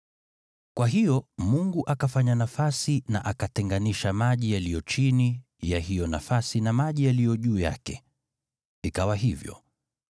Kwa hiyo Mungu akafanya nafasi, akatenganisha maji yaliyo chini ya hiyo nafasi na maji yaliyo juu yake. Ikawa hivyo.